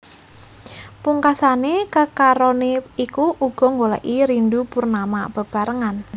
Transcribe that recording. Pungkasané kekaroné iku uga nggolèki Rindu Purnama bebarengan